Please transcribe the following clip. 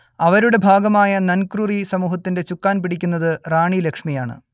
അവരുടെ ഭാഗമായ നൻക്രുറി സമൂഹത്തിന്റെ ചുക്കാൻ പിടിക്കുന്നത് റാണി ലക്ഷ്മിയാണ്